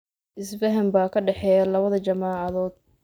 Isfahan baa ka dhexeeya labada jaamacadood.